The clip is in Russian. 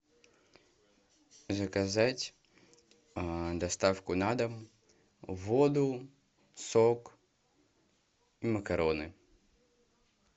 заказать доставку на дом воду сок и макароны